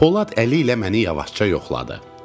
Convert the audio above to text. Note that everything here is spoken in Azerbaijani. Polad əli ilə məni yavaşca yoxladı.